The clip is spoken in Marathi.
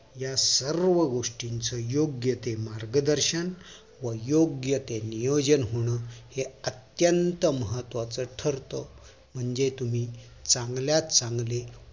या सर्व गोष्टीच योग्य ते मार्गदर्शन व योग्य ते नियोजन होणं हे अत्यंत महत्वाचं ठरत म्हणजे तुम्ही चांगल्यात चांगले